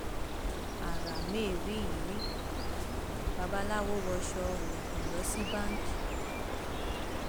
ara mẹrìyírí babaláwo wọṣọ oògùn lọ sí báńkì